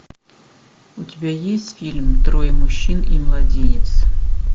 у тебя есть фильм трое мужчин и младенец